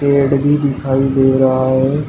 पेड़ भी दिखाई दे रहा है।